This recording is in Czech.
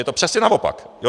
Je to přesně naopak.